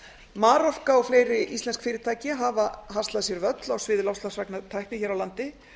marorka og fleiri íslensk fyrirtæki hafa haslað sér völl á sviði loftslagsvænnar tækni hér á landi